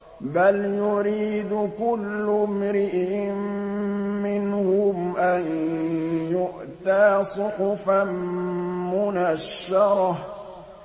بَلْ يُرِيدُ كُلُّ امْرِئٍ مِّنْهُمْ أَن يُؤْتَىٰ صُحُفًا مُّنَشَّرَةً